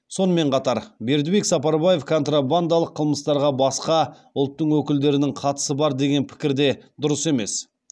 сонымен қатар бердібек сапарбаев контрабандалық қылмыстарға басқа ұлттың өкілдерінің қатысы бар деген пікір де дұрыс емес